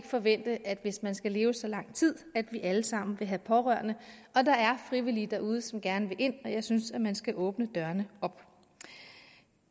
forvente at hvis man skal leve så lang tid at vi alle sammen vil have pårørende der er frivillige derude som gerne vil ind og jeg synes man skal åbne dørene op